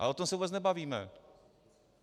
A o tom se vůbec nebavíme.